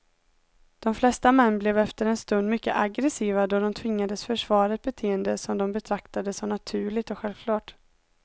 De flesta män blev efter en stund mycket aggressiva då de tvingades försvara ett beteende som de betraktade som naturligt och självklart.